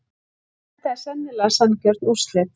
Þetta eru sennilega sanngjörn úrslit.